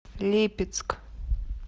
липецк